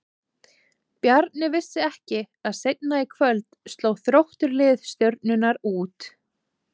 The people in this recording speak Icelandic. Bjarni vissi ekki að seinna í kvöld sló Þróttur lið Stjörnunnar út.